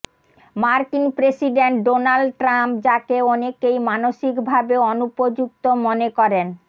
মার্কিন president Donald Trump যাকে অনেকেই মানসিকভাবে অনুপযুক্ত মনে করেন